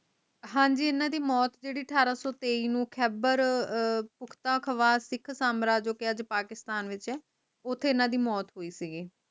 ਹਾਂਜੀ ਏਨਾ ਦੀ ਮੌਤ ਜੇਦੀ ਅਠਾਰਾਂ ਸੋ ਇਕਾਠ ਨੂੰ ਖੈਬਰ ਪੁਖਤਖਵਾਸ ਸਿੱਖ ਸਾਮਰਾਜ ਜੇਦਾ ਅੱਜ ਪਾਕਿਸਤਾਨ ਵਿਚ ਹੈ ਓਥੇ ਏਨਾ ਦੀ ਮੌਤ ਹੋਈ ਸੀਗੀ